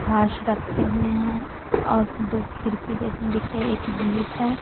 हर्ष रखे हुए हैं और दो खिड़की जैसे दिख रहा है एक गेट है।